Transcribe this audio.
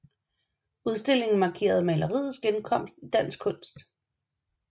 Udstillingen markerede maleriets genkomst i dansk kunst